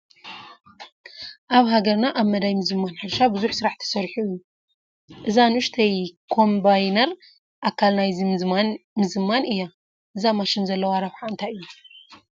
ኣብ ሃገርና ኣብ መዳይ ምዝማን ሕርሻ ብዙሕ ስራሕ ተሰሪሑ እዩ፡፡ እዛ ንኡሽተይ ኮምባይነር ኣካል ናይዚ ምዝማን እያ፡፡ እዛ ማሽን ዘለዋ ረብሓ እንታይ እዩ?